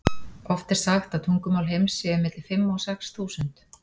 Oft er sagt að tungumál heims séu milli fimm og sex þúsund.